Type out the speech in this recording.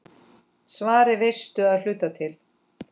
Svarið veistu að hluta til.